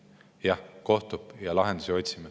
Jah, kohtume, otsime lahendusi.